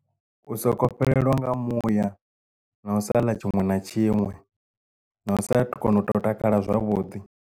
U soko fhelelwa nga muya na u saḽa tshiṅwe na tshiṅwe na u saathu kona u to takala zwavhuḓi.